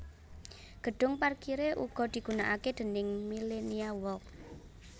Gedhung parkiré uga digunakake déning Millenia Walk